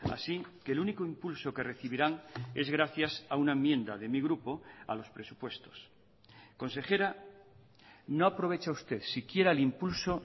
así que el único impulso que recibirán es gracias a una enmienda de mi grupo a los presupuestos consejera no aprovecha usted siquiera el impulso